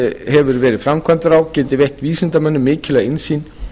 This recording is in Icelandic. hefur verið framkvæmdur á geti veitt vísindamönnum mikilvæga innsýn